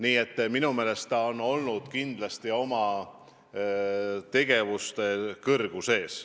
Nii et minu meelest on ta kindlasti olnud oma ülesannete kõrgusel.